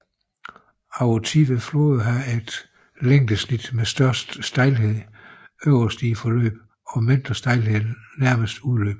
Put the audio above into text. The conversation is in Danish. Over tid vil floder have et længdesnit med størst stejlhed øverst i forløbet og mindst stejlhed nærmest udløbet